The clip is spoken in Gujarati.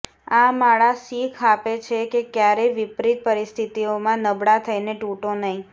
આ માળા સીખ આપે છે કે ક્યારેય વિપરિત પરિસ્થિતિઓમાં નબળા થઈને તૂટો નહીં